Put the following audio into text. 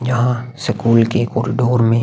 यहाँ की स्कूल के कॉरिडोर में--